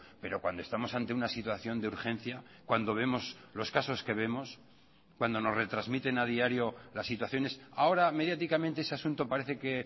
pero cuando estamos ante una situación de urgencia cuando vemos los casos que vemos cuando nos retransmiten a diario las situaciones ahora mediáticamente ese asunto parece que